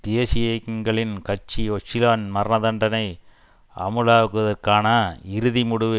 தேசிய இயக்கங்களின் கட்சி ஓச்சலானின் மரணதண்டனை அமுலாக்குவதற்கான இறுதி முடிவு